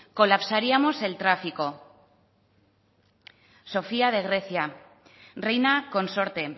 colapsaríamos el tráfico sofía de grecia reina consorte